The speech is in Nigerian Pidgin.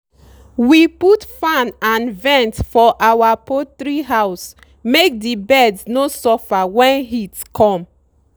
we put fan and vent for our poultry house make the birds no suffer when heat come.